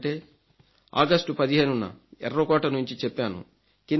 ఏమిటంటే ఆగస్టు 15న ఎర్రకోట నుంచి చెప్పాను